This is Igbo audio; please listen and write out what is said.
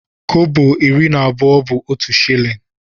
Kọbọ iri na abụọ bu otu shillin.